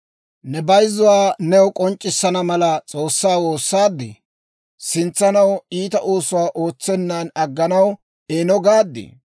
Ne bayzzuwaa new k'onc'c'issana mala, S'oossaa woossaadii? Sintsanaw iita oosuwaa ootsenan agganaw eeno gaaddii?